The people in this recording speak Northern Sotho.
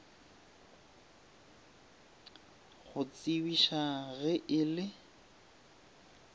go tsebiša ge e le